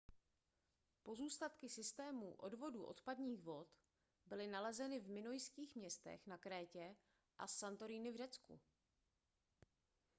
pozůstatky systémů odvodu odpadních vod byly nalezeny v minojských městech na krétě a santorini v řecku